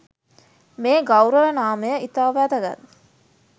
මේ ගෞරව නාමය ඉතා වැදගත්.